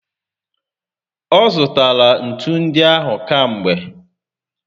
Ọzụtara ntu ndị ahụ kamgbe